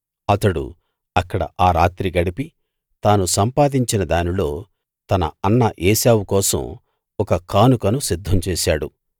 అతడు అక్కడ ఆ రాత్రి గడిపి తాను సంపాదించిన దానిలో తన అన్న ఏశావు కోసం ఒక కానుకను సిద్ధం చేశాడు